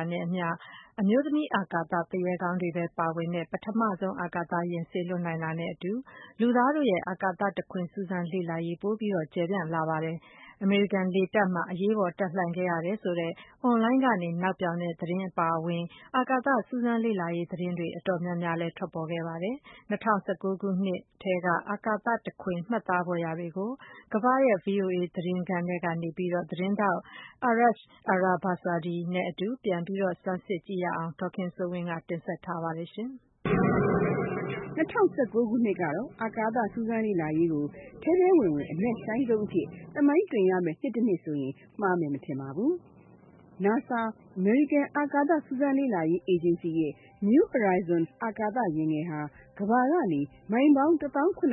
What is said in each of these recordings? ာနဲ့အမျှ အမျိုးသမီးအာကာသသူရဲကောင်းတွေပဲပါဝင်တဲ့ ပထမဆုံးအာကာသယာဉ် စေလွှတ်နိုင်တာနဲ့အတူ လူသားတို့ရဲ့အာကာသတခွင်စူးစမ်းလေ့လာရေး ပိုမိုကျယ်ပြန့်လာပါပြီ။ အမေရိကန်လေတပ်မှာ အရေးပေါ်တပ်လှန့်ခဲ့ရတယ်ဆိုတဲ့ Online ကနေ နောက်ပြောင်တဲ့သတင်းအပါအဝင် အာကာသစူးစမ်းလေ့လာရေးသတင်းတွေ အတော်များများထွက်ပေါ်ခဲ့ပါတယ်။ ၂၀၁၉ ခုနှစ်ထဲက အာကာသတခွင် မှတ်သားဖွယ်ရာတွေကို ကမ္ဘာရဲ့ VOA သတင်းခန်းထဲကနေ သတင်းထောက် Arash Arabasadi နဲ့ အတူ ပြန်လည် စူးစမ်း ကြည့်ကြရအောင် ဒေါ်ခင်စိုးဝင်းက တင်ဆက်ထားပါတယ်။ ၂၀၁၉ ခုနှစ်ကတော့ အာကာသစူးစမ်းလေ့လာရေးကို ထဲထဲဝင်ဝင် အနက်ရှိုင်းဆုံးအဖြစ် သမိုင်းတင်ရမယ့် နှစ်တနှစ်ဆိုရင် မှားမယ်မထင်ပါဘူး။ နာဆာ အမေရိကန်အာကာသစူးစမ်းလေ့လာရေးဌာနရဲ့ New Horizons အာကာသယာဉ်ဟာ ကမ္ဘာကနေ မိုင်ပေါင်း ၁၇,၄၀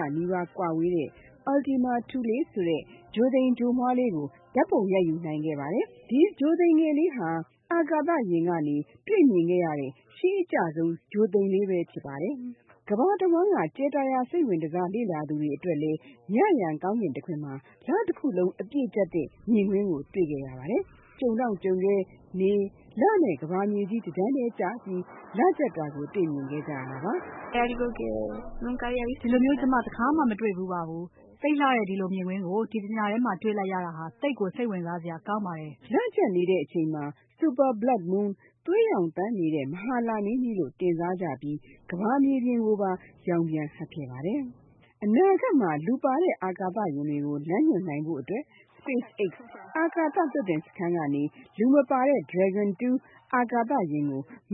၀ နီးပါးကွာဝေးတဲ့ Ultima Thule ဆိုတဲ့ ဂြိုဟ်သိမ်ဂြိုဟ်မွှားလေး ဓါတ်ပုံရိုက်ယူနိုင်ခဲ့ပါတယ်။ ဒီ ဂြိုဟ်သိမ်လေးဟာ အာကာသယာဉ်ကနေ တွေ့မြင်ခဲ့ရတဲ့ ရှေးအကျဆုံး ဂြိုဟ်လေးပဲဖြစ်ပါတယ်။ ကမ္ဘာတဝန်းက ကြယ်တာရာစိတ်ဝင်တစားလေ့လာသူတွေအတွက်လည်း ညဉ့်ယံကောင်းကင်တခွင်မှာ လတခုလုံးအပြည့်ကြတ်တဲ့မြင်ကွင်းကို တွေ့ခဲ့ရပါတယ်။ ကြုံတောင့်ကြုံခဲ နေ၊ လနဲ့ကမ္ဘာမြေကြီး တတန်းတည်းကျပြီး လကြတ်တာကို တွေ့မြင်ခဲ့ကြရတယ်လို့ အစိုးရဝန်ထမ်း Susana ကပြောပါတယ်။ “ဒီလိုမျိုး ကျမတခါမှ မတွေ့ဘူးပါဘူး။ သိပ်လှတဲ့ ဒီလိုမြင်ကွင်းကို ဒီတညတည်းထဲမှာ တွေ့လိုက်ရတာဟာ သိပ်စိတ်ဝင်စားစရာကောင်းပါတယ်။” လကြတ်နေတဲ့အချိန်မှာ Super Blood Moon သွေးရောင်သန်းတဲ့ မဟာလမင်းကြီးလို့ တင်စားကြပြီး ကမ္ဘာမြေပြင်ကိုပါ ရောင်ပြန်ဟပ်ခဲ့ပါတယ်။ အနာဂတ်မှာ လူပါတဲ့အာပာသယာဉ်တွေကို လမ်းညွှန်နိုင်ဖို့အတွက် SpaceX အာကာသ လွှတ်တင်စခန်းကနေ လူမပါတဲ့ Dragon 2 အာကာသယာဉ်ကို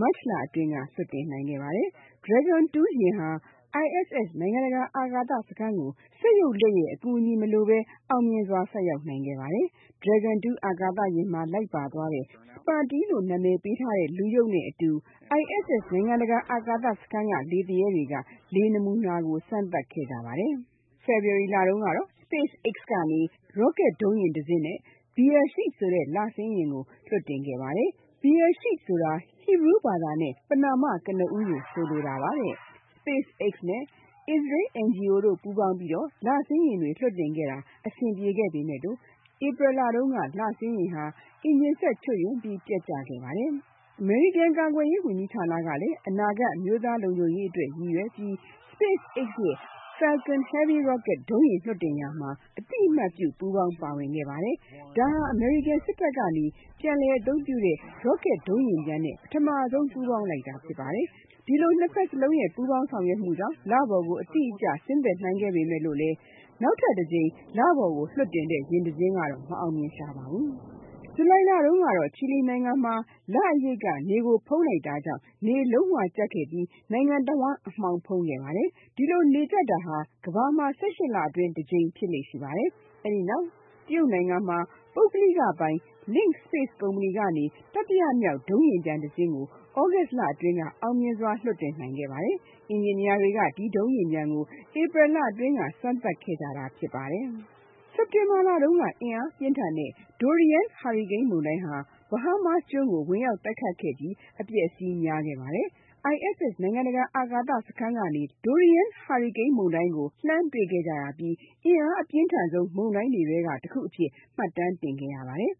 မတ်လအတွင်း လွှတ်တင်ခဲ့ပါတယ်။ Dragon 2 ယာဉ်ဟာ ISS နိုင်ငံတကာ အာကာသစခန်းကို စက်ရုပ်လက်အကူအညီမလိုဘဲ အောင်မြင်စွာ ဆိုက်ရောက်ခဲ့ပါတယ်။ Dragon 2 အာကာသယာဉ်မှာ လိုက်ပါသွားတဲ့ Smarty လို့နံမည်ပေးထားတဲ့ အရုပ်နဲ့အတူ ISS နိုင်ငံတကာအာကာသစခန်းက လေသူရဲတွေက လေ နမူနာတွေကို စမ်းသပ်ခဲ့ကြပါတယ်။ February လတုန်းကတော့ SpaceX ကနေ Rocket တစင်းနဲ့ Beresheet ဆိုတဲ့ လဆင်းယာဉ်ကို လွှတ်တင်ခဲ့ပါသေးတယ်။ Bereshhet ဆိုတာ Hebrew ဘာသာနဲ့ ပဏာမကိုဆိုလိုတာပါတဲ့။ SpaceX နဲ့ အစ္စရေး NGO တို့ ပူးပေါင်းပြီး လဆင်းယာဉ်တွေလွှတ်တင်ခဲ့တာ အဆင်ပြေခဲ့ပေမဲ့ April လတုန်းက လ ဆင်းယာဉ် အင်ဂျင်စက်ချွတ်ယွင်းပြီး ပျက်ကျခဲ့ပါတယ်။ အမေရိကန်ကာကွယ်ရေးဝန်ကြီးဌာနကလည်း အနာဂတ် အမျိုးသားလုံခြုံရေးအတွက် ရည်ရွယ်ပြီး SpaceX ရဲ့ Falcon Heavy Rocket ဒုံးယာဉ်လွှတ်တင် ရာမှာ အသိအမှတ်ပြု ပူးပေါင်းခဲ့ပါတယ်။ ဒါဟာ အမေရိကန်စစ်တပ်ကနေ ပြန်လည်အသုံးပြုတဲ့ Rocket ဒုံးယာဉ်ပျံနဲ့ ပထမဆုံး ပူးပေါင်းလိုက်တာ ဖြစ်ပါတယ်။ ဒီလို နှစ်ဘက်စလုံးရဲ့ ပူးပေါင်းမှုကြောင့် လပေါ် အတိအကျဆင်းသက်နိုင်ခဲ့ချိန်မှာ နောက်ထပ်အသစ်လွှတ်တင်တဲ့ ယာဉ်တစီးကတော့ မအောင်မြင်ရှာပါဘူး။ ဇူလိုင်လတုန်းကတော့ ချီလီနိုင်ငံမှာ လအရိပ်က နေကို ဖုံးလိုက်တာကြောင့် နေလုံးဝကြတ်ခဲ့ပြီး နိုင်ငံတဝန်းအမှောင်ဖုံးခဲ့ပါတယ်။ ဒီလိုနေကြတ်တာဟာ ကမ္ဘာမှာ ၁၈ လအတွင်း တကြိမ်ဖြစ်လေ့ရှိပါတယ်။ တရုတ်ပုဂ္ဂလိက LinkSpace ကုမ္မဏီကနေ တတိယမြောက် ဒုံးပျံယာဉ်တစင်းကို သြဂုတ်လအတွင်းက အောင်မြင်စွာလွှတ်တင်ဆင်းသက်နိုင်ခဲ့ပါတယ်။ အင်ဂျင်နီယာတွေက ဒီ ဒုံးပျံယာဉ်ကို ဧပြီလအတွင်းက စမ်းသပ်ခဲ့ကြပါတယ်။ စက်တင်ဘာလတုန်းက အင်အားပြင်းထန်တဲ့ Dorian ဟာရီကိန်းမုန်တိုင်းဟာ Bahamas ကျွန်းကို ဝင်ရောက်တိုက်ခတ်ခဲ့ပြီး အပျက်အစီးတွေ များခဲ့ပါတယ်။ Dorian မုန်တိုင်းကို ISS နိုင်ငံတကာအာကာသစခန်းကနေ လှမ်းတွေ့ခဲ့ကြရပြီးအင်အားအပြင်းဆုံးမုန်တိုင်းတွေထဲက တခုအဖြစ် မှတ်တမ်းတင်ခဲ့ရပါတယ်။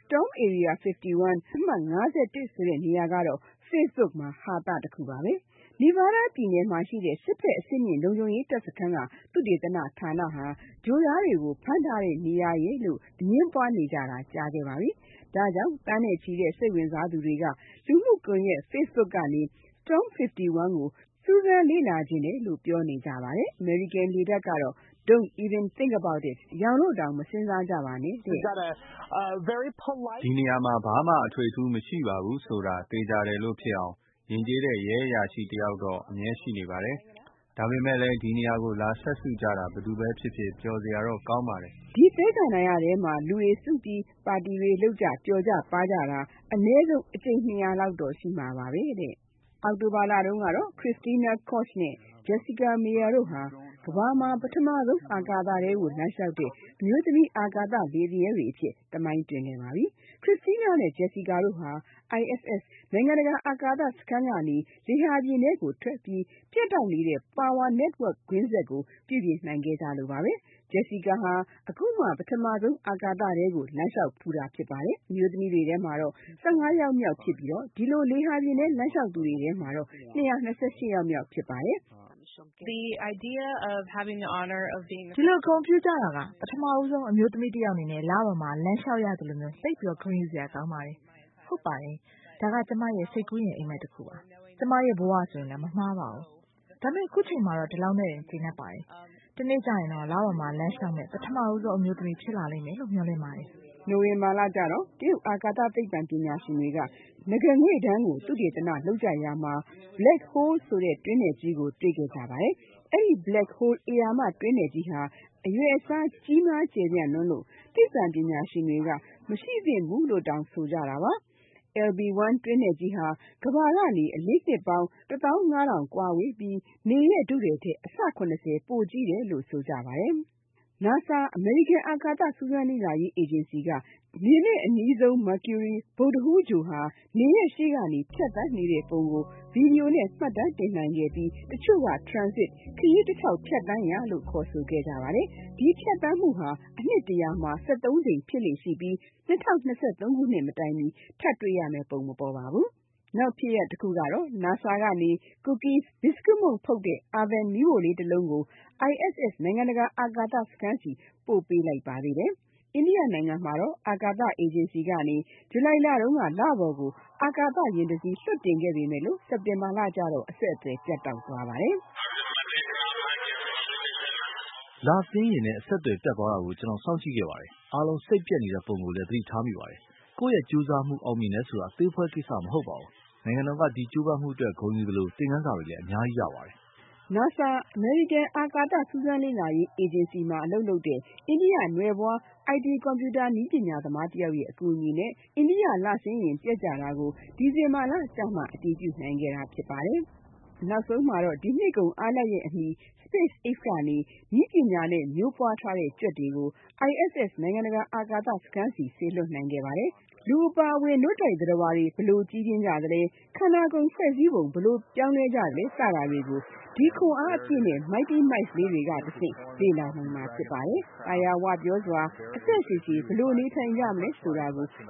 Storm Area 51 မုန်တိုင်းအမှတ် ၅၁ ဆိုတဲ့နေရာကတော့ Facebook မှာ ဟာသတခုပါပဲ။ Nevada ပြည်နယ်မှာရှိတဲ့ စစ်ဘက်အဆင့်မြင့် လုံခြုံရေးတပ် စခန်းက သုတေသနဌာနဟာ ဂြိုဟ်သားတွေဖမ်းထားတဲ့နေရာရယ်လို့ အငြင်းပွားနေကြတာ ကြာခဲ့ပါပြီ။ ဒါကြောင့် သန်းနဲ့ချီတဲ့ စိတ်ဝင်စားသူတွေက လူမှု ကွန်ယက်တွေကနေ Storm 51 ကို စူးစမ်းချင်ကြောင်းပြောနေကြပါတယ်။ အမေရိကန်လေတပ်ကတော့ Don’t even think about it – ယောင်လို့တောင် မစဉ်းစားကြပါနဲ့တဲ့.. Utah ပြည်နယ်ကလာတဲ့ ဧည့်သည် Jackson Carter က.. “ဒီနေရာမှာဘာမှ အထွေအထူးမရှိပါဘူးဆိုတာ သေချာတယ်လို့ ဖြစ်အောင် ယဉ်ကျေးတဲ့ ရဲအရာရှိတယောက်တော့အမြဲရှိနေပါတယ်။ ဒါပေမဲ့လည်း ဒီနေရာကိုလာစပ်စုကြတာ ဘယ်သူပဲဖြစ်ဖြစ် ပျော်စရာတော့ကောင်းပါတယ်။” ဒီသဲကန္တာရထဲမှာ လူတွေစုပြီး ပါတီလုပ်ကြ၊ ပျော်ကြပါးကြတာ အနည်းဆုံးအကြိမ် ၂၀၀ လောက်တော့ရှိမှာပါပဲ။ အောက်တိုဘာလတုန်းက Christina Koch နဲ့ Jessica Meir တို့ဟာ ကမ္ဘာမှာ ပထမဆုံး အာကာသထဲလမ်းလျှောက်တဲ့အမျိုးသမီး အာကာသ လေသူရဲတွေ အဖြစ် သမိုင်းတွင်ခဲ့ပါပြီ။ Christina နဲ့ Jessica တို့ဟာ ISS-နိုင်ငံတကာအာကာသစခန်းကနေလေဟာပြင်ထဲထွက်ပြီး ပြတ်တောက်နေတဲ့ power network ကွင်းဆက်ကို ပြုပြင်နိုင်ခဲ့ကြလို့ပါဘဲ။Jessica ဟာ အခုမှ ပထမဆုံး အာကာသထဲလမ်းလျှောက်ဖူးတာဖြစ်ပါတယ်။ အမျိုးသမီးထဲမှာတော့ ၁၅ ယောက်မြောက်ဖြစ်ပြီး ဒီလို လေဟာပြင်ထဲလျှောက်သူထဲမှာတော့ ၂၂၈ ယောက်မြောက်ဖြစ်ပါတယ်။အာကာသလေသူရဲ Christina က.. “ဒီလို ဂုဏ်ပြုကြတာဟာ ပထမဆုံး အမျိုးသမီးတယောက်အနေနဲ့ လပေါ်မှာ လမ်းလျှောက်ရသလိုမျိုး သိပ်ဂုဏ်ယူစရာကောင်းပါတယ်။ ဟုတ်ပါတယ်၊ ဒါဟာ ကျမရဲ့စိတ်ကူးယဉ်အိပ်မက်တခုပါ၊ ကျမရဲ့ဘဝဆိုလည်း မမှားပါဘူး။ ဒါပေမဲ့ အခုအချိန်မှာတော့ ဒီလောက်နဲ့ကျေနပ်ပါတယ်။ တနေ့ကျရင်တော့ လပေါ်မှာ လမ်းလျှောက်မယ့် ပထမဆုံးအမျိုးသမီးဖြစ်လာလိမ့်မယ်လို့ မျှော်လင့်နေပါတယ်။” နိုဝင်ဘာလတုန်းက တရုတ်အာကာသသိပ္ပံပညာရှင်တွေက နဂါးငွေ့တန်းကိုသုတေသနလုပ်ကြရာမှာ Black Hole တွင်းနက်ကြီးကို တွေ့ခဲ့ကြပါတယ်။ အဲဒီ Black Hole ဧရာမတွင်းနက်ကြီးဟာ အရွယ်အစားကြီးမားကျယ်ပြန့်လွန်းလို့ သိပံပညာရှင်တွေက မရှိသင့်ဘူးလို့တောင်ဆိုကြပါတယ်။ LB-1 တွင်းနက်ကြီးဟာ ကမ္ဘာကနေ အလင်းနှစ်ပေါင်း ၁၅,၀၀၀ ကွာဝေးပြီး နေရဲ့ထုထည်ထက် အဆ ၇၀ ပိုကြီးတယ်လို့ ဆိုပါတယ်။ NASA အမေရိကန်အာကာသစူးစမ်းလေ့လာရေးအေဂျင်စီက နေနဲ့အနီးဆုံး Mercury ဗုဒ္ဒဟူးဂြိုဟ်က နေရဲ့ရှေ့ကနေဖြတ်သန်းနေတဲ့ပုံကို Video နဲ့ မှတ်တမ်းတင်နိုင်ခဲ့ပြီး တချို့က Transit ခရီးတထောက်ဖြတ်သန်းရာလို့ခေါ်ကြပါတယ်။ ဒီလို ဖြတ်သန်းမှုဟာ နှစ် ၁၀၀ မှာ ၁၃ ကြိမ်ဖြစ်လေ့ရှိပြီး ၂၀၂၃ ခုနှစ်မတိုင်မီ ထပ်တွေ့ရမယ့်ပုံမပေါ်ပါဘူး။ နောက် NASA ကနေလည်း Cookie မုန့်ဖုတ်တဲ့ Oven မီးဖိုလေးတလုံး ISS-နိုင်ငံတကာအာကာသစခန်းဆီ ပို့ပေးလိုက်ပါသေးတယ်။ အိန္ဒိယနိုင်ငံ အာကာသအေဂျင်စီက ဇူလိုင်လတုန်းက လပေါ်ကို အာကာသယာဉ်တစီး လွှတ်တင်ခဲ့ပေမယ့် စက်တင်ဘာလကျတော့ အဆက်အသွယ် ပြတ်သွားပါတယ်။ “လဆင်းယာဉ်နဲ့ အဆက်အသွယ်ပြတ်သွားတာကို ကျနော်စောင့်ကြည့်ခဲ့ပါတယ်။ အားလုံးစိတ်ပျက်နေတဲ့ပုံကိုလည်းသတိထားမိပါတယ်။ ကိုယ့်ရဲ့ ကြိုးစားမှုအောင်မြင်တယ်ဆိုတာ အသေးအဖွဲကိစ္စမဟုတ်ပါဘူး။ နိုင်ငံတော်က ဒီကြိုးပမ်းမှုအတွက်ဂုဏ်ယူသလို သင်ခန်းစာတွေလည်း အများကြီးရပါတယ်။” NASA က India နွယ်ဖွား IT ကွန်ပြူတာ နည်းပညာသမားတယောက်ရဲ့ အကူအညီနဲ့ လဆင်းယာဉ်ပျက်ကျတာကို December ကျမှ အတည်ပြုနိုင်ခဲ့ ပါတယ်။ နောက်ဆုံးမှာတော့ ဒီနှစ်ကုန်အားလပ်ရက်အမီ SpaceX ကနေ နည်းပညာနဲ့ မျိုးပွားထားတဲ့ကြွက်တွေကို ISS-နိုင်ငံတကာအာကာစခန်းဆီ စေလွှတ်နိုင် လိုက်ပါတယ်။ လူအပါအဝင် နို့တိုက်သတ္တဝါတွေ ဘယ်လိုကြီးပြင်းကြသလဲ၊ ကိုယ်ခန္ဒာဖွဲ့စည်းပုံပြောင်းလဲမှုစတာတွေကိုဒီခွန်အားအပြည့်နဲ့ Mighty mice လေးတွေကတဆင့် လေ့လာနိုင်မှာဖြစ်ပါတယ်။ သာယာဝပြောစွာ အသက်ရှည်ရှည်..ဘယ်လိုနေကြမလဲဆိုတာကို ရှ